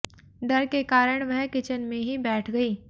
डर के कारण वह किचन में ही बैठ गई